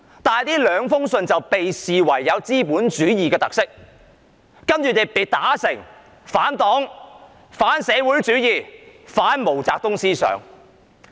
但是，這兩封信被視為有資本主義特色，然後他被打成反黨、反社會主義、反毛澤東思想。